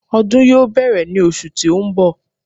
Ọdún yóò bẹ̀rẹ̀ ní osù tí ó ń bọ̀